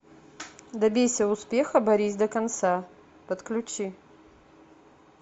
добейся успеха борись до конца подключи